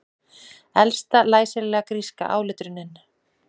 Elsta læsilega gríska áletrunin